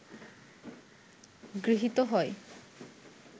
গৃহীত হয়